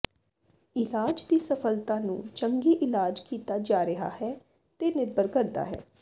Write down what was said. ਇਲਾਜ ਦੀ ਸਫਲਤਾ ਨੂੰ ਚੰਗੀ ਇਲਾਜ ਕੀਤਾ ਜਾ ਰਿਹਾ ਹੈ ਤੇ ਨਿਰਭਰ ਕਰਦਾ ਹੈ